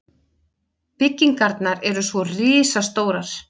Byggingarnar eru svo risastórar.